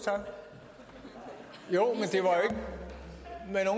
det er herre